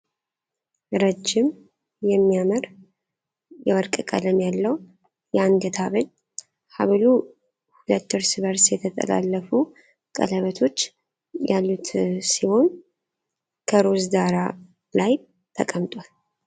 ረጅም የሚያምር የወርቅ ቀለም ያለው የአንገት ሐብል ። ሐብሉ ሁለት እርስ በእርስ የተጠላለፉ ቀለበቶች ያሉት ሲሆን፣ ከሮዝ ዳራ ላይ ተቀምጧል።